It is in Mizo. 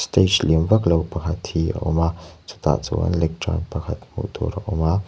stage lian vak lo pakhat hi a awm a chutah chuan lecturn pakhat hmuh tur a awm a.